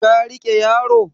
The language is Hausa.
ka rike yaro?